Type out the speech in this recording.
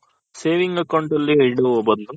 saving account ಅಲ್ಲಿ ಇಡುವ ಬದಲು